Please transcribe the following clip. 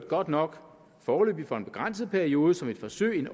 godt nok foreløbig for en begrænset periode som et forsøg